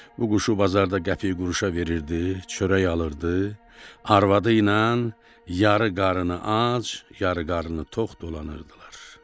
Bu quşu bazarda qəpik quruşa verirdi, çörək alırdı, arvadı ilə yarı qarnı ac, yarı qarnı tox dolanırdılar.